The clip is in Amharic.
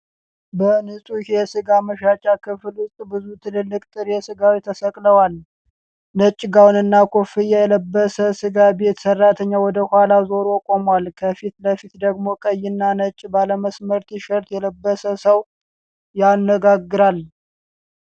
በንጹህ የስጋ መሸጫ ክፍል ውስጥ ብዙ ትላልቅ ጥሬ ስጋዎች ተሰቅለዋል። ነጭ ጋውንና ኮፍያ የለበሰ ስጋ ቤት ሰራተኛ ወደ ኋላው ዞሮ ቆሟል። ከፊት ለፊቱ ደግሞ ቀይና ነጭ ባለመስመር ቲ-ሸርት የለበሰ ሰው ያነጋግራል።